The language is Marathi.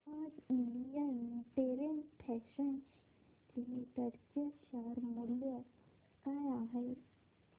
सांगा आज इंडियन टेरेन फॅशन्स लिमिटेड चे शेअर मूल्य काय आहे